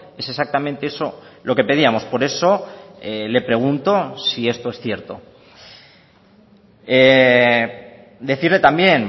es exactamente eso lo que pedíamos por eso le pregunto si esto es cierto decirle también